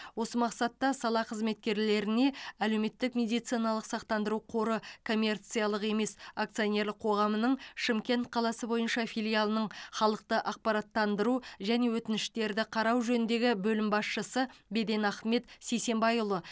осы мақсатта сала қызметкерлеріне әлеуметтік медициналық сақтандыру қоры коммерциялық емес акционерлік қоғамының шымкент қаласы бойынша филиалының халықты ақпараттандыру және өтініштерді қарау жөніндегі бөлім басшысы беден ахмет сисенбайұлы